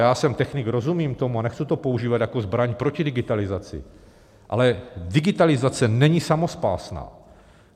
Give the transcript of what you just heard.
Já jsem technik, rozumím tomu a nechci to používat jako zbraň proti digitalizaci, ale digitalizace není samospásná.